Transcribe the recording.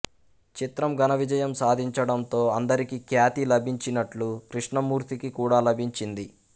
చిత్రం ఘనవిజయం సాధించడంతో అందరికి ఖ్యాతి లభించినట్టు కృష్ణమూర్తికి కూడా లభించింది